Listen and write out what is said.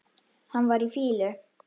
Hann var í fýlu.